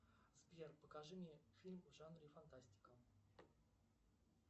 сбер покажи мне фильм в жанре фантастика